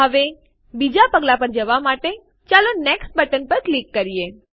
હવે બીજા પગલાં પર જવાં માટે ચાલો નેક્સ્ટ બટન ઉપર ક્લિક કરીએ